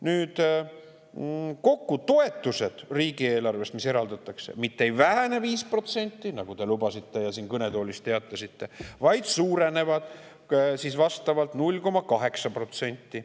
Nüüd, kokku toetused riigieelarvest, mis eraldatakse, mitte ei vähene 5%, nagu te lubasite ja siin kõnetoolis teatasite, vaid suurenevad 0,8%.